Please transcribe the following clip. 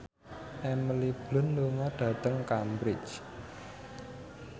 Emily Blunt lunga dhateng Cambridge